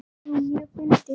Jú, mjög fyndið.